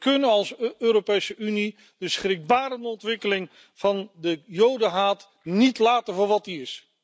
We kunnen als Europese Unie de schrikbarende ontwikkeling van de Jodenhaat niet laten voor wat hij is.